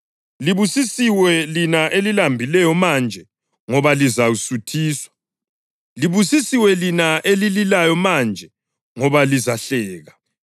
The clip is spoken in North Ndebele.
Libusisiwe lina elilambileyo manje, ngoba lizasuthiswa. Libusisiwe lina elililayo manje, ngoba lizahleka.